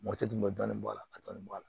Mɔti tun bɛ dɔɔnin bɔ a la ka dɔɔnin bɔ a la